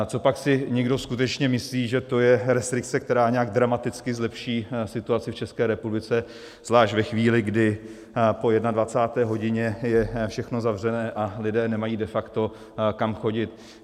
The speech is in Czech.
Copak si někdo skutečně myslí, že to je restrikce, která nějak dramaticky zlepší situaci v České republice, zvlášť ve chvíli, kdy po 21. hodině je všechno zavřené a lidé nemají de facto kam chodit?